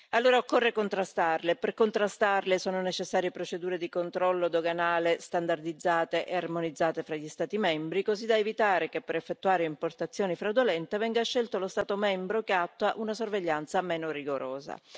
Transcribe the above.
Allora occorre contrastarle e per contrastarle sono necessarie procedure di controllo doganale standardizzate e armonizzate fra gli Stati membri, così da evitare che per effettuare importazioni fraudolente venga scelto lo Stato membro che attua una sorveglianza meno rigorosa.